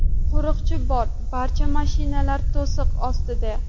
Qo‘riqchi bor, barcha mashinalar to‘siq ostida.